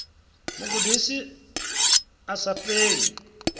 mu gudisa a sa fheli